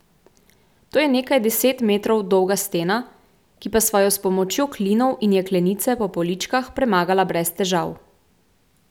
To je nekaj deset metrov dolga stena, ki pa sva jo s pomočjo klinov in jeklenice po poličkah premagala brez težav.